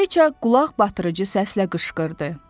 Kraliça qulaqbatırıcı səslə qışqırdı: